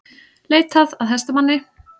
Leitað að hestamanni